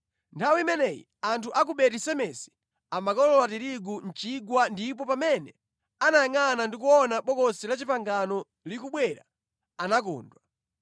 Nthawi imeneyi anthu a ku Beti-Semesi amakolola tirigu mʼchigwa ndipo pamene anayangʼana ndi kuona Bokosi la Chipangano likubwera anakondwa.